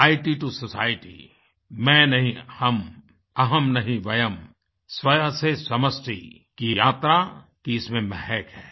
इत टो Societyमैं नहीं हम अहम् नहीं वयम् स्व से समष्टि की यात्रा की इसमें महक है